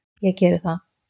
Ég geri það